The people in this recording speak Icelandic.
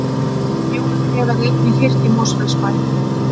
Jólatré verða einnig hirt í Mosfellsbæ